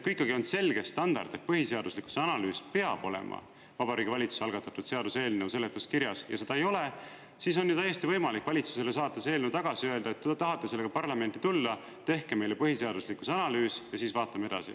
Kui ikkagi on selge standard, et põhiseaduslikkuse analüüs peab olema Vabariigi Valitsuse algatatud seaduseelnõu seletuskirjas, ja seda ei ole, siis on ju täiesti võimalik valitsusele saata see eelnõu tagasi ja öelda, et kui te tahate sellega parlamenti tulla, tehke meile põhiseaduslikkuse analüüs ja siis vaatame edasi.